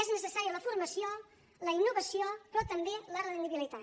és necessària la formació la innovació però també la rendibilitat